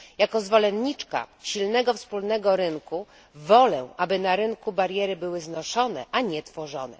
Jako zwolenniczka silnego wspólnego rynku wolę, aby na rynku bariery były znoszone, a nie tworzone.